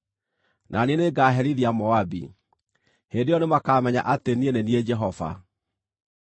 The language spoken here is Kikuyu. na niĩ nĩngaherithia Moabi. Hĩndĩ ĩyo nĩmakamenya atĩ niĩ nĩ niĩ Jehova.’ ”